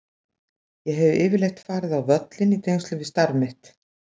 Ég hef yfirleitt farið á völlinn í tengslum við starf mitt.